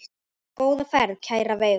Góða ferð, kæra Veiga.